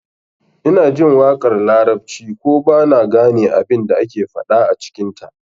Ina jin waƙar larabci ko ba na gane abin da ake faɗa a cikinta